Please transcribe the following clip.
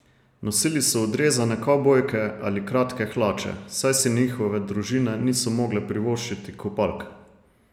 Nosili so odrezane kavbojke ali kratke hlače, saj si njihove družine niso mogle privoščiti kopalk.